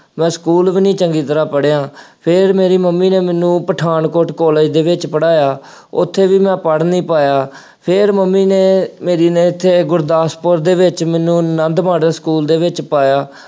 ਮੈਂ ਸਕੂ਼ਲ ਵੀ ਨਹੀਂ ਚੰਗੀ ਤਰ੍ਹਾ ਪੜ੍ਹਿਆਂ, ਫੇਰ ਮੇਰੀ ਮੰਮੀ ਨੇ ਮੈਨੂੰ ਪਠਾਨਕੋਟ ਕਾਲਜ ਦੇ ਵਿੱਚ ਪੜ੍ਹਾਇਆ। ਉੱਥੇ ਵੀ ਮੈਂ ਪੜ੍ਹ ਨਹੀਂ ਪਾਇਆ। ਫੇਰ ਮੰਮੀ ਨੇ ਮੇਰੀ ਨੇ ਇੱਥੇ ਗੁਰਦਾਸਪੁਰ ਦੇ ਵਿੱਚ ਮੈਨੂੰ ਆਨੰਦ ਮਾਡਲ ਸਕੂ਼ਲ ਦੇ ਵਿੱਚ ਪਾਇਆ।